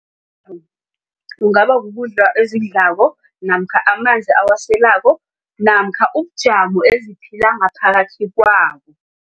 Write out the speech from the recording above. Kungabakukudla ezidlako namkha amanzi awaselako namkha ubujamo eziphila ngaphakathi kwabo.